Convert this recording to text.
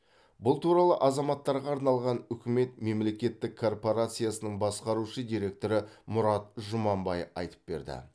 бұл туралы азаматтарға арналған үкімет мемлекеттік корпорациясының басқарушы директоры мұрат жұманбай айтып берді